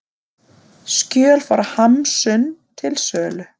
Skjöl frá Hamsun til sölu